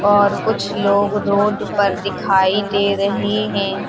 और कुछ लोग रोड पर दिखाई दे रहे हैं।